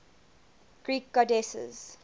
greek goddesses